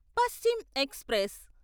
Paschim express